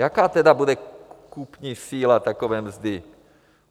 Jaká tedy bude kupní síla takové mzdy?